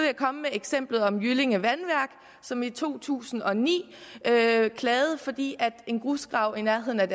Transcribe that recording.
komme med eksemplet med jyllinge vandværk som i to tusind og ni klagede fordi en grusgrav i nærheden af